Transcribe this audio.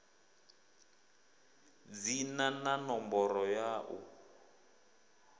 dzina na ṋomboro ya u